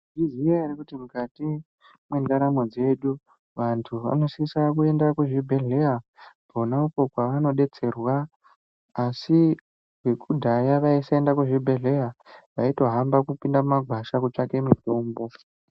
Munozviziya ere kuti mukati mwendaramo dzedu vantu vanosisa kuenda kuzvibhedhlera kona uko kwavanodetserwaasi vekudhaya vaisaenda kuzvibhedhlera vaitohamba kupinda mumagwasha kutsavake mitombo